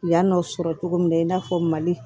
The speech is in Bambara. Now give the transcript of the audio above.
U y'a nɔ sɔrɔ cogo min na i n'a fɔ mali